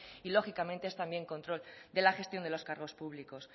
y lógicamente es también control de la gestión de los cargos públicos